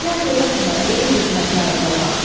Fitnə törətmə, ey fitnəkar cavan.